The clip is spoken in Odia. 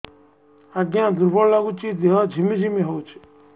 ଆଜ୍ଞା ଦୁର୍ବଳ ଲାଗୁଚି ଦେହ ଝିମଝିମ ହଉଛି